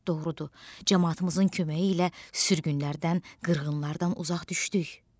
Doğrudur, camaatımızın köməyi ilə sürgünlərdən, qırğınlardan uzaq düşdük.